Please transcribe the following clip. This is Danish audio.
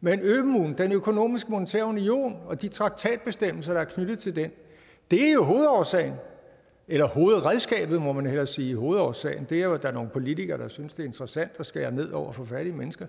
men ømuen den økonomiske og monetære union og de traktatbestemmelser der er knyttet til den er jo hovedårsagen eller hovedredskabet må man hellere sige hovedårsagen er jo at der er nogle politikere der synes det er interessant at skære ned over for fattige mennesker